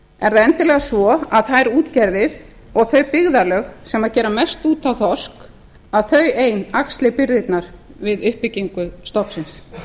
er það endilega svo að þær útgerðir og þau byggðarlög sem gera mest út á þorsk þau ein axli byrðarnar við uppbyggingu stofnsins